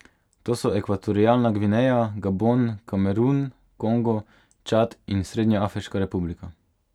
To so Ekvatorialna Gvineja, Gabon, Kamerun, Kongo, Čad in Srednjeafriška republika.